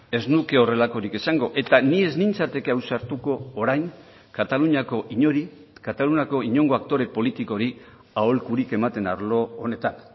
ez nuke horrelakorik esango eta ni ez nintzateke ausartuko orain kataluniako inori kataluniako inongo aktore politikori aholkurik ematen arlo honetan